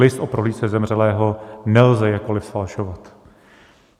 List o prohlídce zemřelého nelze jakkoliv zfalšovat.